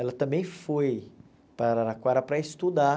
Ela também foi para Araraquara para estudar